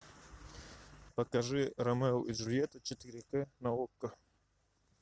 покажи ромео и джульетта четыре к на окко